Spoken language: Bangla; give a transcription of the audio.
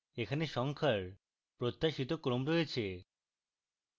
এখানে সংখ্যার প্রত্যাশিত ক্রম রয়েছে